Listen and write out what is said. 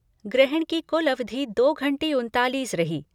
ग्रहण की कुल अवधि दो घंटे उनतालिस रही।